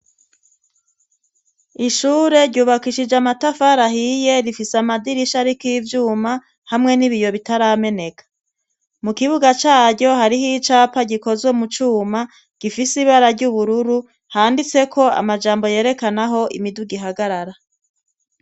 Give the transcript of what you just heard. Ishure, ryubakishije amatafari ahiye, rifise amadirisha ariko ivyuma hamwe n'ibiyo bitarameneka, mu kibuga caryo hariho icapa gikozwe mu cuma gifise ibara ry'ubururu, handitseko amajambo yerekana aho imiduga ihagarara.